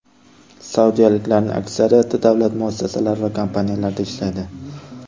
Saudiyaliklarning aksariyati davlat muassasalari va kompaniyalarida ishlaydi.